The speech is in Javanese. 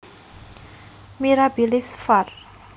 mirabilis var